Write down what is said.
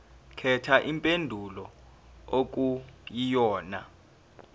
khetha impendulo okuyiyona